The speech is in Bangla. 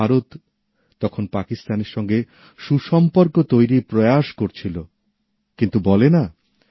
ভারত তখন পাকিস্তানের সঙ্গে সুসম্পর্ক তৈরির চেষ্টা করছিল কিন্তু কথায় বলে